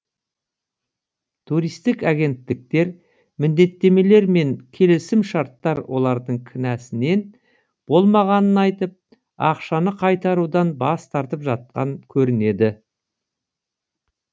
туристік агенттіктер міндеттемелер мен келісімшарттар олардың кінәсінен болмағанын айтып ақшаны қайтарудан бас тартып жатқан көрінеді